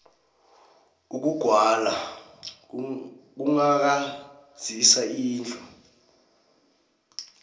ukugwala kughakazisa indlu